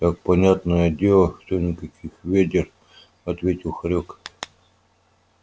так понятное дело что никаких вёдер ответил хорёк